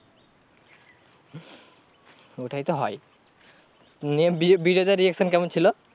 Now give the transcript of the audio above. ওটাই তো হয় নিয়ে বিজয় বিজয়দার reaction কেমন ছিল?